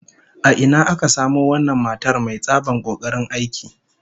A ina aka samo wannan matar mai tsabar kokarin aiki?